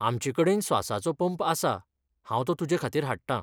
आमचेकडेन स्वासाचो पंप आसा, हांव तो तुजेखातीर हाडटां.